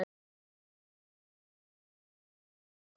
Herða að.